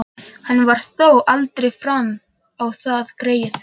Hann fór þó aldrei fram á það, greyið.